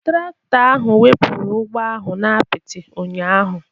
Traktọ ahụ wepụrụ ụgbọ ahụ n'apịtị ụnyahụ.